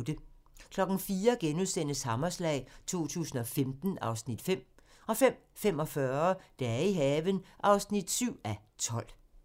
04:00: Hammerslag 2015 (Afs. 5)* 05:45: Dage i haven (7:12)